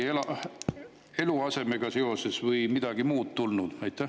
On midagi eluasemega seoses või midagi muud tulnud?